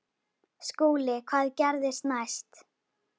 SKÚLI: Hvað gerðist næst?